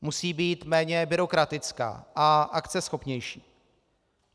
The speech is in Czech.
Musí být méně byrokratická a akceschopnější.